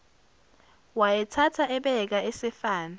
wayethatha ebeka esefana